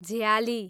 झ्याली